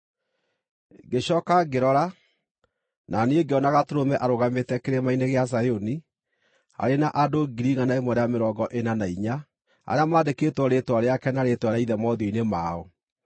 Ngĩcooka ngĩrora, na niĩ ngĩona Gatũrũme arũgamĩte Kĩrĩma-inĩ gĩa Zayuni, arĩ na andũ 144,000 arĩa maandĩkĩtwo rĩĩtwa rĩake na rĩĩtwa rĩa Ithe mothiũ-inĩ mao.